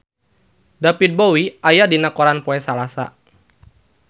David Bowie aya dina koran poe Salasa